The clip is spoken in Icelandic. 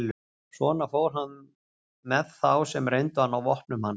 Svona fór hann með þá sem reyndu að ná vopnum hans.